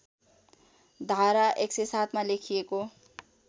धारा १०७ मा लेखिएको